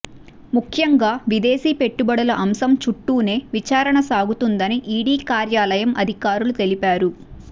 ముఖ్యంగా విదేశీ పెట్టుబడుల అంశం చుట్టూనే విచారణ సాగుతుందని ఈడీ కార్యాలయం అధికారులు తెలిపారు